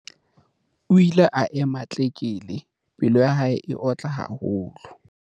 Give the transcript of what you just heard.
o ile a ema tlekele! Pelo ya hae e otla haholo